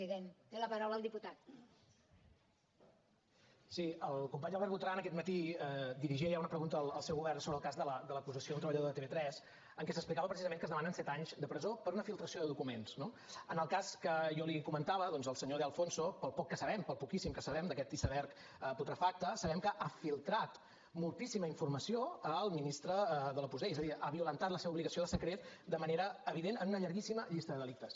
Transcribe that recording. sí el company albert botran aquest matí dirigia ja una pregunta al seu govern sobre el cas de l’acusació d’un treballador de tv3 en què s’explicava precisament que es demanen set anys de presó per una filtració de documents no en el cas que jo li comentava doncs el senyor de alfonso pel poc que sabem pel poquíssim que sabem d’aquest iceberg putrefacte sabem que ha filtratformació al ministre de l’opus dei és a dir ha violentat la seva obligació de secret de manera evident en una llarguíssima llista de delictes